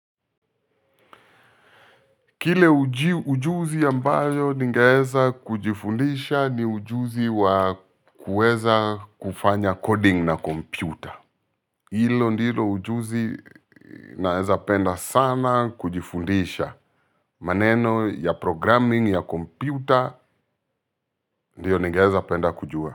Kile ujuzi ambayo ningeweza kujifundisha ni ujuzi wa kuweza kufanya coding na kompyuta. Hilo ndilo ujuzi naweza penda sana kujifundisha. Maneno ya programming ya komputa ndiyo ningeweza penda kujua.